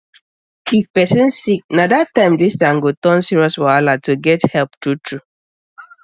if person sick na that time distance go turn serious wahala to get help truetrue